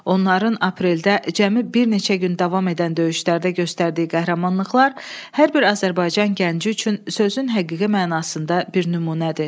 Onların apreldə cəmi bir neçə gün davam edən döyüşlərdə göstərdiyi qəhrəmanlıqlar hər bir Azərbaycan gəncisi üçün sözün həqiqi mənasında bir nümunədir.